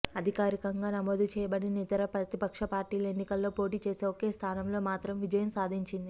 అధికారికంగా నమోదుచేయబడిన ఇతర ప్రతిపక్ష పార్టీలు ఎన్నికలలో పోటీచేసి ఒకే స్థానంలో మాత్రం విజయం సాధించింది